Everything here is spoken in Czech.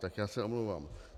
Tak já se omlouvám.